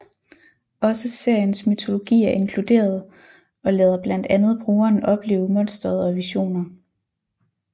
Også seriens mytologi er inkluderet og lader blandt andet brugeren opleve Monsteret og visioner